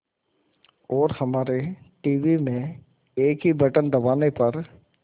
और हमारे टीवी में एक ही बटन दबाने पर